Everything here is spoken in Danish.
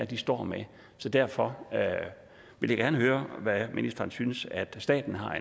de står med så derfor vil jeg gerne høre hvad ministeren synes at staten har